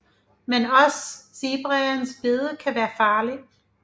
Men også zebraens bid kan være farligt